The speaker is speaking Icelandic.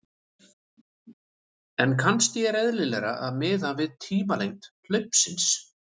En kannski er eðlilegra að miða við tímalengd hlaupsins.